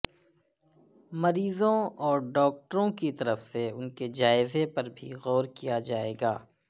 مریضوں اور ڈاکٹروں کی طرف سے ان کے جائزے پر بھی غور کیا جائے گا